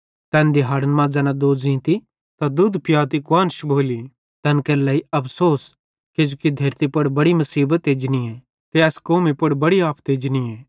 तैन दिहाड़न मां ज़ैना दोज़ींती त दुध पियाती कुआन्श भोली तैन केरे लेइ अफ़सोस किजोकि धेरती पुड़ बड़ी मुसीबत एजनीए ते एस कौमी पुड़ बड़ी आफत एजनीए